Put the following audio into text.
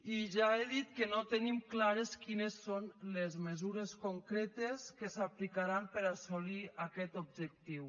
i ja he dit que no tenim clares quines són les mesures concretes que s’aplicaran per a assolir aquest objectiu